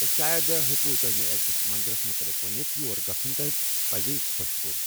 شاید ہٮ۪کِ توہہِ مےٚ أکس مندرس متعلق ؤنِتھ یور گژھٗن توہہِ پزی خۄش كو٘ر ۔